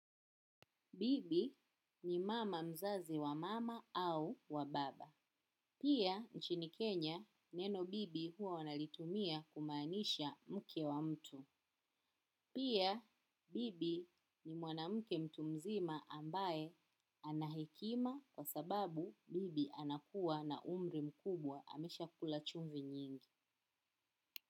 Bibi ni mama mzazi wa mama au wa baba. Pia, nchini Kenya, neno bibi huwa wanalitumia kumaanisha mke wa mtu. Pia, bibi ni mwanamuke mtu mzima ambaye anahekima kwa sababu bibi anakuwa na umri mkubwa amesha kula chumvi nyingi.